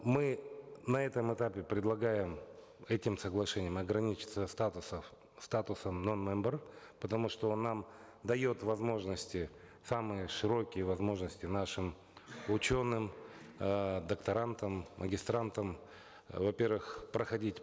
мы на этом этапе предлагаем этим соглашением ограничиться статусом ноу мембер потому что он нам дает возможности самые широкие возможности нашим ученым э докторантам магистрантам э во первых проходить